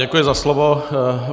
Děkuji za slovo.